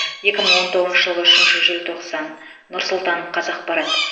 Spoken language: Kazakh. екі мың он тоғызыншы жылғы үшінші желтоқсан нұр сұлтан қазақпарат